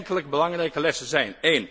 Enkele belangrijke lessen zijn